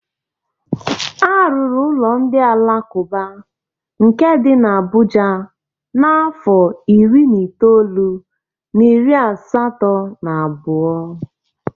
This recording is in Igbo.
Arụrụ ụlọ ndị alakụba nke dị n'Abuja n'afọ iri na itoolu na iri asatọ na abụọ.